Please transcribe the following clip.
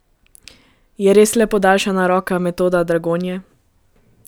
Je res le podaljšana roka Metoda Dragonje?